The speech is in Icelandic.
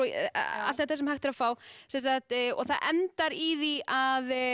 allt þetta sem hægt er að fá það endar í því að